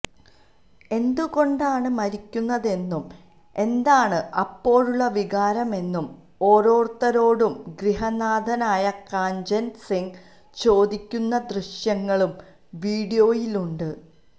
എന്തുകൊണ്ടാണ് മരിക്കുന്നതെന്നും എന്താണ് അപ്പോഴുള്ള വികാരമെന്നും ഓരോരുത്തരോടും ഗൃഹനാഥനായ കാഞ്ചന് സിംഗ് ചോദിക്കുന്ന ദൃശ്യങ്ങളും വീഡിയോയിലുണ്ട്